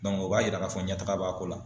o b'a yira k'a fɔ ɲɛtaga b'a ko la.